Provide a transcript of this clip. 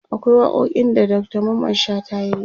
akwai waƙoƙin da Dr Mamman shata yayi